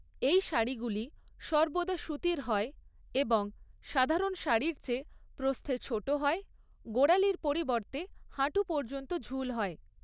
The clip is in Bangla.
এই শাড়িগুলি সর্বদা সুতির হয় এবং সাধারণ শাড়ির চেয়ে প্রস্থে ছোট হয়, গোড়ালির পরিবর্তে হাঁটু পর্যন্ত ঝুল হয়।